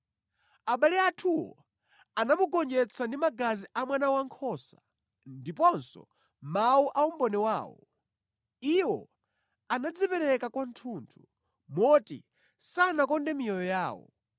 Abale athuwo anamugonjetsa ndi magazi a Mwana Wankhosa ndiponso mawu a umboni wawo. Iwo anadzipereka kwathunthu, moti sanakonde miyoyo yawo.